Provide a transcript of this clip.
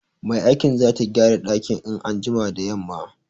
Mai aikin zata gyara dakin in an jima da yamma.